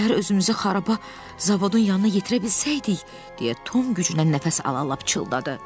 Birtəhər özümüzü xaraba zavodun yanına yetirə bilsəydik, deyə Tom güclə nəfəs alala-alala pıçıldadı.